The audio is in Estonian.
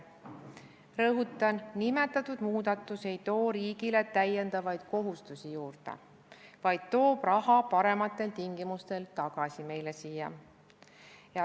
Rõhutan, et nimetatud muudatus ei too riigile lisakohustusi, vaid see toob raha parematel tingimustel meile siia tagasi.